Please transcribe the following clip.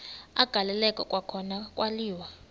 agaleleka kwakhona kwaliwa